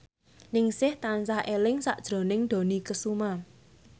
Ningsih tansah eling sakjroning Dony Kesuma